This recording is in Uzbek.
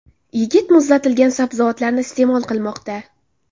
Yigit muzlatilgan sabzavotlarni iste’mol qilmoqda”.